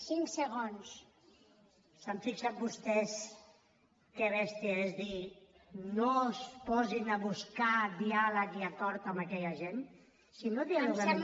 s’han fixat vostès que bèstia és dir no es posin a buscar diàleg i acord amb aquella gent si no dialoguem